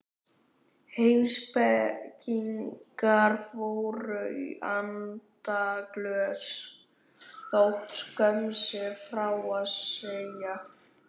Heimspekingar fóru í andaglös þótt skömm sé frá að segja.